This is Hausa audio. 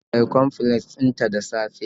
Ta sha bicomplex din ta da safe